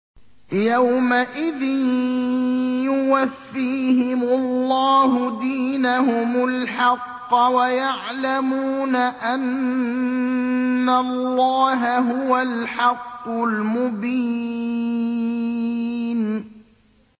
يَوْمَئِذٍ يُوَفِّيهِمُ اللَّهُ دِينَهُمُ الْحَقَّ وَيَعْلَمُونَ أَنَّ اللَّهَ هُوَ الْحَقُّ الْمُبِينُ